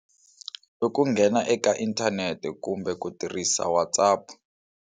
I ku nghena eka inthanete kumbe ku tirhisa Whatsap.